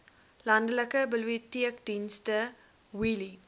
landelike biblioteekdienste wheelie